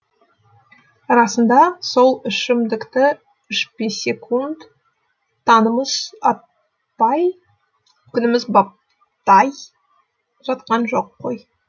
расында сол ішімдікті ішпесекунд таңымыз атпай күніміз батпай жатқан жоқ қой